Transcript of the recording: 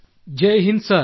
Jai Hind sir